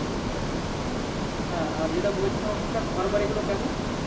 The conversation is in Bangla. হ্যাঁ আর যেটা বলছিলাম ওখানকার ঘরবাড়ি গুলো কেমন?